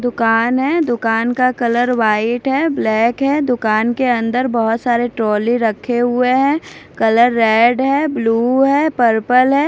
दुकान है दुकान का कलर व्हाइट है ब्लैक है दुकान के अंदर बहुत सारे ट्रॉली रखे हुए हैं कलर रेड है ब्लू है पर्पल है।